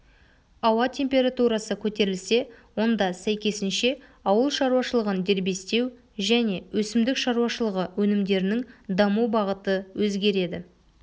ауа температурасы көтерілсе онда сәйкесінше ауылшаруашылығын дербестеу және өсімдік шаруашылығы өнімдерінің даму бағыты өзгереді